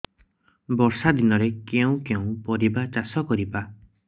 ବର୍ଷା ଦିନରେ କେଉଁ କେଉଁ ପରିବା ଚାଷ କରିବା